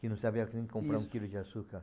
Que não sabia como comprar um quilo de açúcar.